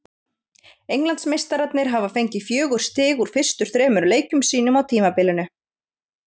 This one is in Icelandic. Englandsmeistararnir hafa fengið fjögur stig úr fyrstu þremur leikjum sínum á tímabilinu.